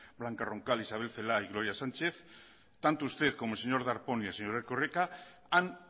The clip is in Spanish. blanca roncal isabel celaá y gloria sánchez tanto usted como el señor darpón y el señor erkoreka han